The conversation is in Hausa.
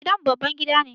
Gidan mu babban gida ne.